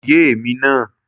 Kò yé èmi náà